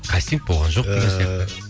кастинг болған жоқ ыыы деген сияқты